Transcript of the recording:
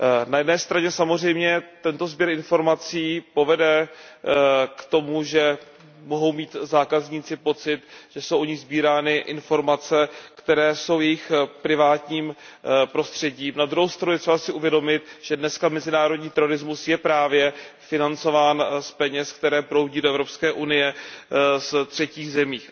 Na jedné straně samozřejmě tento sběr informací povede k tomu, že zákazníci mohou mít pocit, že jsou o nich sbírány informace, které jsou jejich privátním prostředím, na druhou stranu je třeba si uvědomit, že dnes je mezinárodní terorismus právě financován z peněz, které proudí do Evropské unie z třetích zemí.